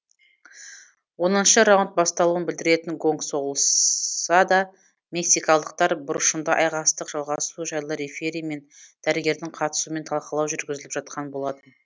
оныншы раунд басталуын білдіретін гонг соғылса да мексикалықтар бұрышында айқастық жалғасуы жайлы рефери мен дәрігердің қатысуымен талқылау жүргізіліп жатқан болатын